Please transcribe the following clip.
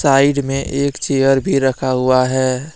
Side में एक chair भी रखा हुआ है।